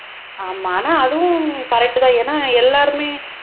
ஆமா ஆனா அதுவும் correct தான் ஏன்னா எல்லாருமே